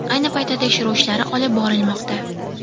Ayni paytda tekshiruv ishlari olib borilmoqda.